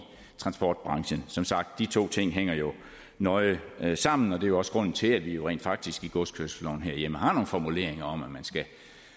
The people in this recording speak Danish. transportbranchen som sagt de to ting hænger jo nøje sammen og det er også grunden til at vi rent faktisk i godskørselsloven herhjemme har nogle formuleringer om at man skal